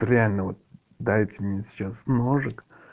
реально в дайте мне сейчас ножик